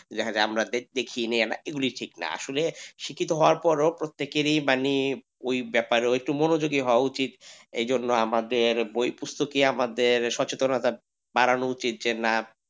দেখা যাই যে আমরা দেখিনি এই গুলি ঠিক না আসলে শিক্ষিত হওয়ার পরও প্রত্যেকেরই মানে ওই ব্যাপার মনোযোগী হওয়া উচিত এই জন্য আমাদের বই পুস্তক ই আমাদের সচেতনতা বাড়ানো উচিত, যে না,